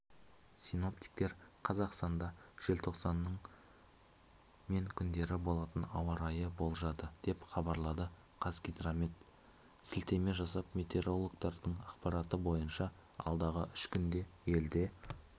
синоптиктер қазақстанда желтоқсанның мен күндері болатын ауа райын болжады деп хабарлады қазгидромет сілтеме жасап метеорологтардың ақпараты бойынша алдағы үш күнде елде